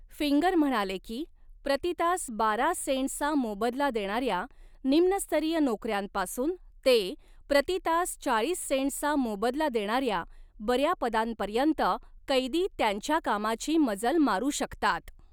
Finger म्हणाले की, प्रति तास बारा सेंट्सचा मोबदला देणाऱ्या निम्न स्तरीय नोकऱ्यांपासून ते प्रति तास चाळीस सेंट्सचा मोबदला देणाऱ्या बऱ्या पदांपर्यंत कैदी त्यांच्या कामाची मजल मारू शकतात.